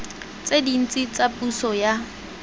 tse dintsi tsa puso ya